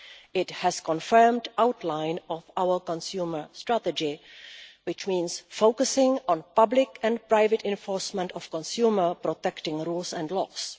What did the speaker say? This has confirmed the outline of our consumer strategy, which means focusing on public and private enforcement of consumer protection rules and laws.